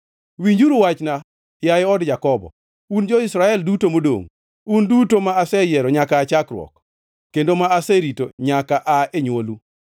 Winjuru wachna, yaye od Jakobo, un jo-Israel duto modongʼ, un duto ma aseyiero nyaka aa chakruok kendo ma aserito nyaka aa e nywolu.